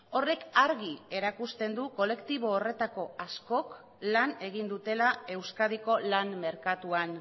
horrek argi erakusten du kolektibo horretako askok lan egin dutela euskadiko lan merkatuan